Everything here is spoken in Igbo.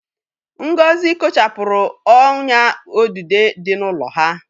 Ngozi kochapụrụ ọ́nyà odudo dị n'ụlọ ha.